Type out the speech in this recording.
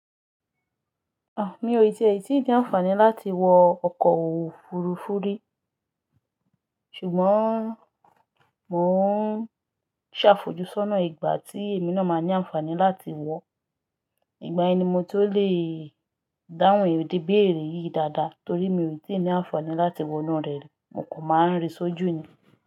À, mi ò tí í ní ànfàní láti wọ ọkọ òfurufú rí. Ṣùgbọ́n mò ń ṣàfojúsọ́nà ìgbà tí èmi náà máa ní ànfàní láti wọ̀. Ìgbà ẹni mo tí ó lè dáhùn èdè béèrè yìí dáadáa torí mi ò rí tí í ní ànfàní láti wọ inú rẹ̀ rí, mo kò máa ń rí sójú ni.